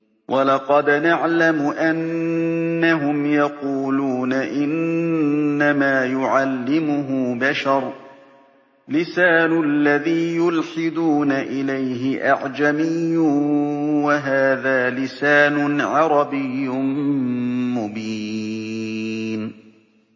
وَلَقَدْ نَعْلَمُ أَنَّهُمْ يَقُولُونَ إِنَّمَا يُعَلِّمُهُ بَشَرٌ ۗ لِّسَانُ الَّذِي يُلْحِدُونَ إِلَيْهِ أَعْجَمِيٌّ وَهَٰذَا لِسَانٌ عَرَبِيٌّ مُّبِينٌ